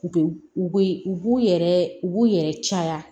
U be u be u b'u yɛrɛ u b'u yɛrɛ caya